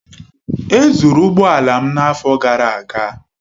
E zụrụ ụgbọ ala m n'afọ gara aga.